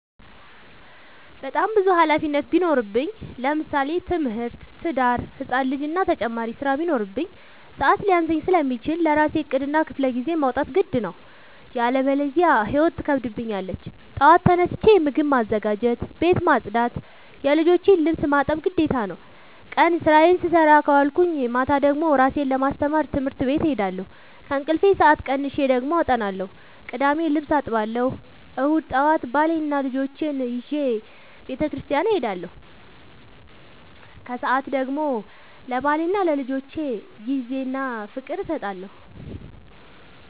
በጣም ብዙ ሀላፊነት ቢኖርብኝ ለምሳሌ፦ ትምህርት፣ ትዳር፣ ህፃን ልጂ እና ተጨማሪ ስራ ቢኖርብኝ። ሰዐት ሊያንሰኝ ስለሚችል ለራሴ ዕቅድ እና ክፍለጊዜ ማውጣት ግድ ነው። ያለበዚያ ህይወት ትከብደኛለች ጠዋት ተነስቼ ምግብ ማዘጋጀት፣ ቤት መፅዳት የልጆቼን ልብስ ማጠብ ግዴታ ነው። ቀን ስራዬን ስሰራ ከዋልኩኝ ማታ ደግሞ እራሴን ለማስተማር ትምህርት ቤት እሄዳለሁ። ከእንቅልፌ ሰአት ቀንሼ ደግሞ አጠናለሁ ቅዳሜ ልብስ አጥባለሁ እሁድ ጠዋት ባሌንና ልጆቼን ይዤ በተስኪያን እሄዳለሁ። ከሰዓት ደግሞ ለባሌና ለልጆቼ ጊዜ እና ፍቅር እሰጣለሁ።